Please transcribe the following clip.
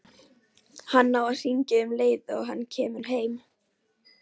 Hann á að hringja um leið og hann kemur heim.